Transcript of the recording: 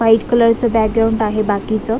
White कलरच background आहे बाकीच.